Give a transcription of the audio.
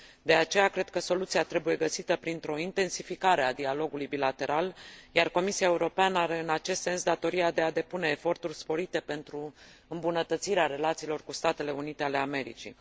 De aceea cred că soluția trebuie găsită printr o intensificare a dialogului bilateral, iar Comisia Europeană are, în acest sens, datoria de a depune eforturi sporite pentru îmbunătățirea relațiilor cu Statele Unite ale Americii.